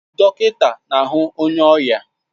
Dọkịta na-ahu onye ọrịa